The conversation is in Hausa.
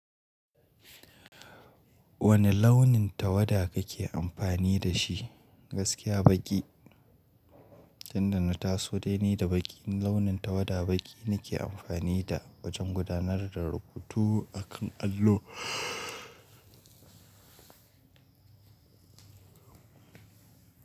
Wane launin tawada kake amfani da shi? Gaskiya baƙi, tun da na taso dai ni da baƙi, launin tawada baƙi nake amfani da wajen gudanar da rubutu a kan allo.